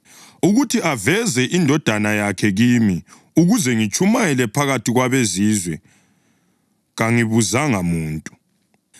ukuthi aveze iNdodana yakhe kimi, ukuze ngitshumayele phakathi kwabeZizwe, kangibuzanga muntu.